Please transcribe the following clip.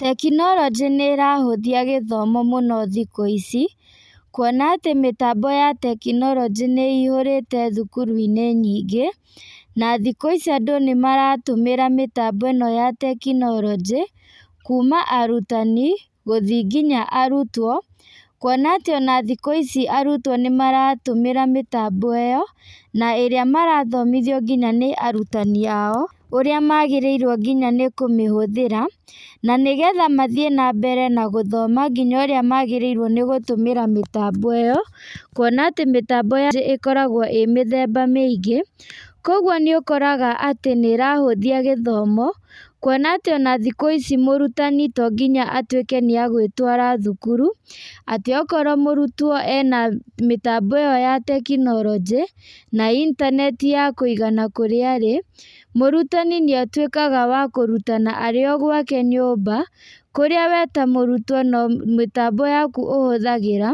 Tekinoronjĩ nĩrahũthia gĩthomo mũno thikũ ici, kuona atĩ mĩtambo ya tekinoronjĩ nĩ ĩihũrĩte thukuru-inĩ nyingĩ, na thikũ ici andũ nĩmaratũmĩra mĩtambo ĩno ya tekinoronjĩ, kuma arutani gũthiĩ nginya arutwo, kuona atĩ ona thikũ ici arutwo nĩmaratũmĩra mĩtambo ĩyo, na ĩrĩa marathomithio nginya nĩ arutani ao ũrĩa magĩrĩirwo nginya nĩ kũmĩhũthĩra, na nĩgetha mathiĩ na mbere na gũthoma nginya ũrĩa magĩrĩirwo nĩ gũtũmĩra mĩtambo ĩyo, kuona atĩ mĩtambo ya ĩkoragwo ĩ mĩthemba mĩingĩ, koguo nĩũkoraga atĩ nĩũrahũthia gĩthomo, kuona atĩ ona thikũ ici mũrutani to nginya atuĩke nĩegwĩtwara thukuru, atĩ okorwo mũrutwo ena mĩtambo ĩyo ya tekinoronjĩ na intaneti ya kũigana kũrĩa arĩ, mũrutani nĩatuĩkaga wa kũrutana arĩ o gwake nyũmba, kũrĩa we ta mũrutwo no mĩtambo yaku ũhũthagĩra,